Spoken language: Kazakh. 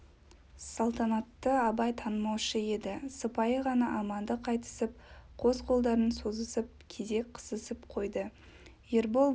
салтанатты абай танымаушы еді сыпайы ғана амандық айтысып қос қолдарын созысып кезек қысысып қойды ербол бұл